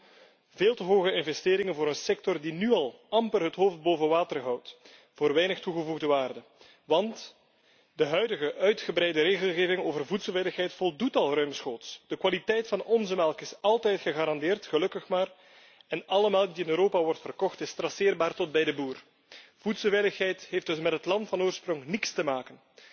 Kortom, veel te hoge investeringen voor een sector die nu al amper het hoofd boven water kan houden, voor weinig toegevoegde waarde. Want de huidige uitgebreide regelgeving over voedselveiligheid voldoet al ruimschoots. De kwaliteit van onze melk is altijd gegarandeerd, gelukkig maar, en alle melk die in Europa wordt verkocht is traceerbaar tot bij de boer. Voedselveiligheid heeft dus met het land van oorsprong niets te maken.